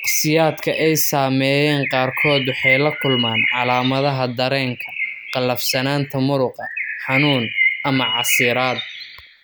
Shakhsiyaadka ay saameeyeen qaarkood waxay la kulmaan calaamadaha dareenka, qallafsanaanta muruqa, xanuun, ama casiraad.